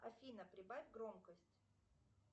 афина прибавь громкость